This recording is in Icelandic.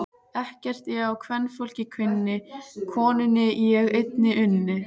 Ekkert ég á kvenfólk kunni, konunni ég einni unni.